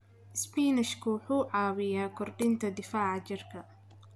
Isbinaashka wuxuu caawiyaa kordhinta difaaca jirka.